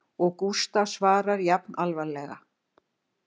Og Gústaf svarar jafn alvarlega